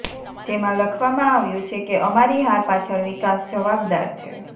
જેમાં લખવામાં આવ્યું છે કે અમારી હાર પાછળ વિકાસ જવાબદાર છે